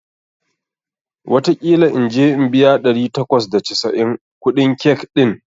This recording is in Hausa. wataƙila in je in biya ɗari takwas da casa'in kuɗin cake ɗin